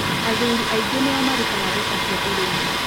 Athuri aingĩ nĩ o marutaga mbeca cia ũrĩmi